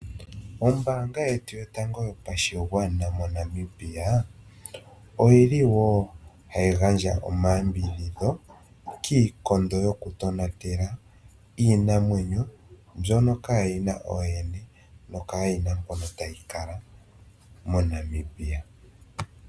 Ombaanga yetu yotango yopashigwana moNamibia, oyi li wo hayi gandja omayambidhidho kiikondo yokutonatela iinamwenyo, mbyono kaayi na ooyene, nokaayi na mpono tayi kala moNamibia.